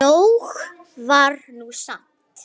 Nóg var nú samt.